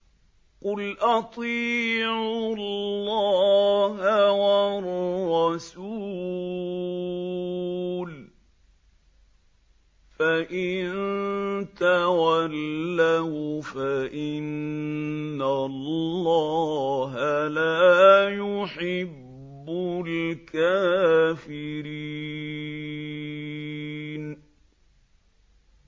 قُلْ أَطِيعُوا اللَّهَ وَالرَّسُولَ ۖ فَإِن تَوَلَّوْا فَإِنَّ اللَّهَ لَا يُحِبُّ الْكَافِرِينَ